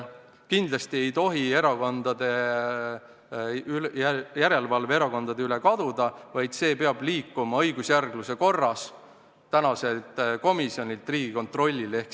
Kindlasti ei tohi järelevalve erakondade üle kaduda, see peab liikuma õigusjärgluse korras tänaselt komisjonilt Riigikontrolli kätte.